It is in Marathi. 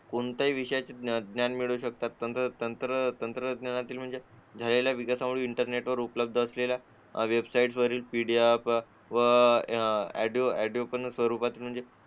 कोणताही विषय विषयाचे ज्ञान मिळवू शकतात तंत्र तंत्रज्ञानातील म्हणजे झालेल्या विकासावर इंटरनेट असलेल्या वेबसाईट वरील PDF व ऑडिओ पण स्वरूपात